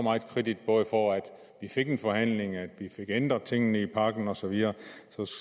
meget kredit både for at vi fik en forhandling og at vi fik ændret tingene i pakken og så videre